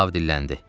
Ahav dilləndi.